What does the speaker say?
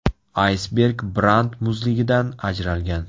Aysberg Brant muzligidan ajralgan.